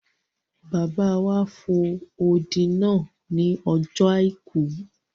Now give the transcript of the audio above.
Bàbá wa fo odi náà ní ọjọ́ àìkú